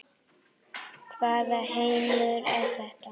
Hvaða heimur er þetta?